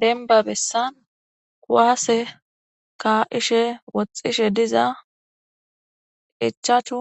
denba bessan kuwaase ka7ishe woxxishe diza ichachu